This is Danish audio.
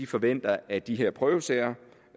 forventer at de her prøvesager